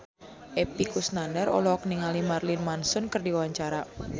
Epy Kusnandar olohok ningali Marilyn Manson keur diwawancara